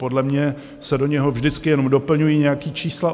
Podle mě se do něho vždycky jenom doplňují nějaká čísla.